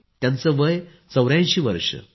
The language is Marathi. त्याचं वय 84 वर्ष आहे